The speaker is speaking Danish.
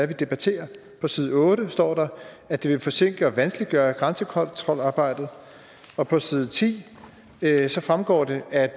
vi debatterer på side otte står der at det vil forsinke og vanskeliggøre grænsekontrolarbejdet og på side ti fremgår det at